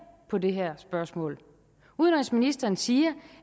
på det her spørgsmål udenrigsministeren siger